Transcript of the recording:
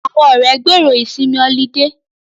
Àwọn ọ̀rẹ́ gbèrò ìsinmi ọlidé